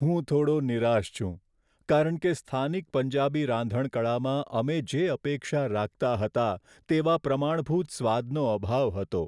હું થોડો નિરાશ છું કારણ કે સ્થાનિક પંજાબી રાંધણકળામાં અમે જે અપેક્ષા રાખતા હતા તેવા પ્રમાણભૂત સ્વાદનો અભાવ હતો.